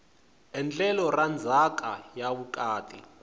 endlelo ra ndzhaka ya vukati